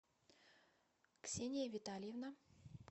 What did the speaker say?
ксения витальевна